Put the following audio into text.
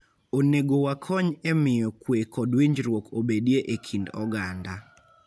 Onego wakony e miyo kwe kod winjruok obedie e kind oganda.